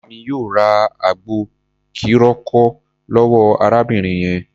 Bàbá mi yóò ra àgbo kírokò lọ́wọ́ arábìnrin yẹn.